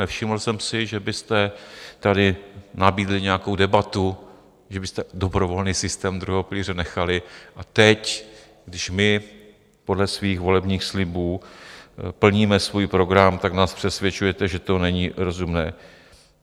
Nevšiml jsem si, že byste tady nabídli nějakou debatu, že byste dobrovolný systém druhého pilíře nechali, a teď, když my podle svých volebních slibů plníme svůj program, tak nás přesvědčujete, že to není rozumné.